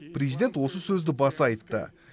президент осы сөзді баса айтты